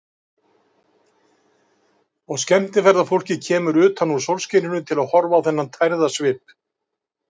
Og skemmtiferðafólkið kemur utan úr sólskininu til að horfa á þennan tærða svip.